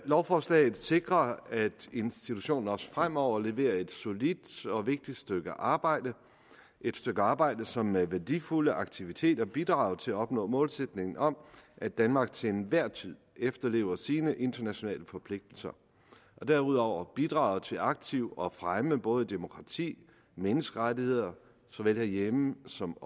lovforslaget sikrer at institutionen også fremover leverer et solidt og vigtigt stykke arbejde et stykke arbejde som med værdifulde aktiviteter bidrager til at opnå målsætningen om at danmark til enhver tid efterlever sine internationale forpligtelser og derudover bidrager til aktivt at fremme både demokrati og menneskerettigheder såvel herhjemme som